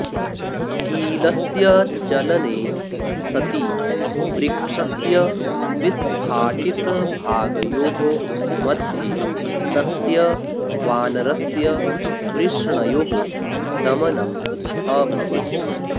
कीलस्य चलने सति वृक्षस्य विस्फाटितभागयोः मध्ये तस्य वानरस्य वृषणयोः दमनम् अभवत्